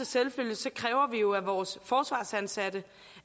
selvfølge kræver vi jo af vores forsvarsansatte